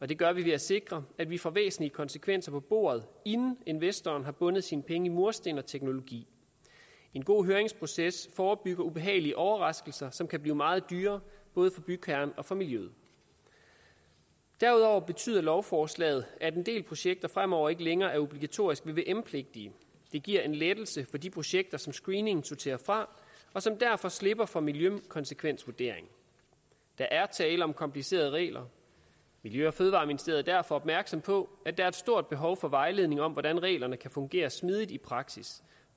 det gør vi ved at sikre at vi får væsentlige konsekvenser på bordet inden investoren har bundet sine penge i mursten og teknologi en god høringsproces forebygger ubehagelige overraskelser som kan blive meget dyre både for bygherren og for miljøet derudover betyder lovforslaget at en del projekter fremover ikke længere er obligatorisk vvm pligtige det giver en lettelse for de projekter som screeningen sorterer fra og som derfor slipper for miljøkonsekvensvurdering der er tale om komplicerede regler miljø og fødevareministeriet er derfor opmærksom på at der er et stort behov for vejledning om hvordan reglerne kan fungere smidigt i praksis